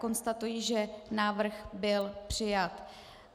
Konstatuji, že návrh byl přijat.